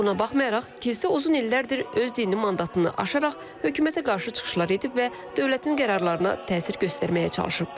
Buna baxmayaraq, kilsə uzun illərdir öz dini mandatını aşaraq hökumətə qarşı çıxışlar edib və dövlətin qərarlarına təsir göstərməyə çalışıb.